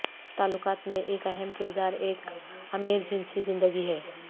تعلقات میں ایک اہم کردار ایک امیر جنسی زندگی ہے